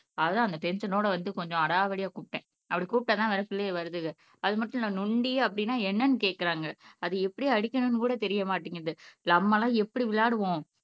அதான் அந்த டென்ஷன் ஓட வந்து கொஞ்சம் அடாவடியா கூப்பிட்டேன். அப்படி கூப்பிட்டாதான் வர சொல்லியே வருதுங்க அது மட்டும் இல்லை நொண்டி அப்படின்னா என்னன்னு கேட்கிறாங்க அது எப்படி அடிக்கணும்னு கூட தெரிய மாட்டேங்குது நம்மமெல்லாம் எப்படி விளையாடுவோம்